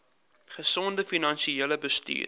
gesonde finansiële bestuur